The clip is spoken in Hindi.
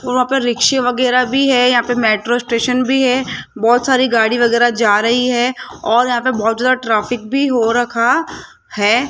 वहां पे रिक्शा वगैरा भी है यहां पे मेट्रो स्टेशन भी है बहोत सारी गाड़ी वगैरा जा रही है और यहां पे बहोत ज्यादा ट्रैफिक भी हो रखा है।